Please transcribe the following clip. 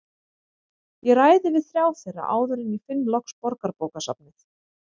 Ég ræði við þrjá þeirra áður en ég finn loks Borgarbókasafnið.